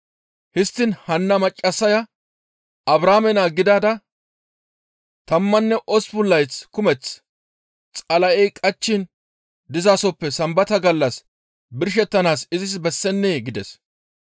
Histtiin hanna maccassaya Abrahaame naa gidada tammanne osppun layth kumeth Xala7ey qachchiin dizasoppe Sambata gallas birshettanaas izis bessennee?» gides.